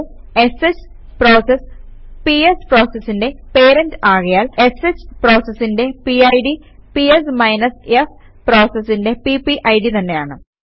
ഷ് process PS പ്രോസസിന്റെ parent ആകയാൽ sh പ്രോസസിന്റെ പിഡ് പിഎസ് f പ്രോസസിന്റെ പിപിഡ് തന്നെയാണ്